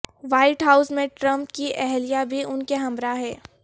white House میں Trump کی اہلیہ بھی انکے ہمراہ ہیں